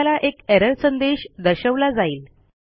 आपल्याला एक एरर संदेश दर्शवला जाईल